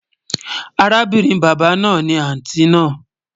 Àràbìnrin baba náà ni àntí náà